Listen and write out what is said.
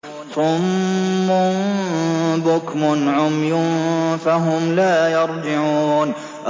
صُمٌّ بُكْمٌ عُمْيٌ فَهُمْ لَا يَرْجِعُونَ